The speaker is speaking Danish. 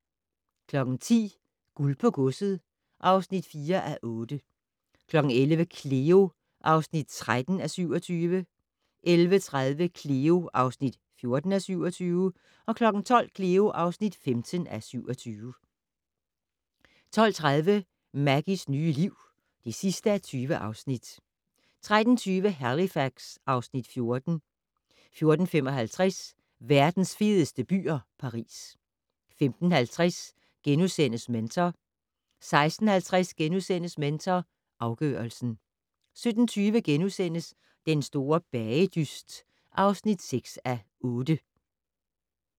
10:00: Guld på godset (4:8) 11:00: Cleo (13:27) 11:30: Cleo (14:27) 12:00: Cleo (15:27) 12:30: Maggies nye liv (20:20) 13:20: Halifax (Afs. 14) 14:55: Verdens fedeste byer - Paris 15:50: Mentor * 16:50: Mentor afgørelsen * 17:20: Den store bagedyst (6:8)*